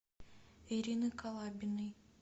ирины калабиной